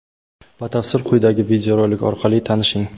Batafsil quyidagi videorolik orqali tanishing!.